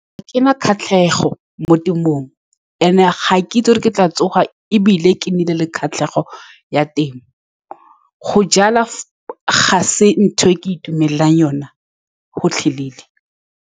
Ga ke na kgatlhego mo temong. And-e ga keitsi ke tla tsoga, ebile ke nnile le kgatlhego ya temo go jala ga se ntho e ke itumelelang yone gotlhelele.